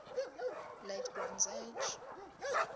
late bronze age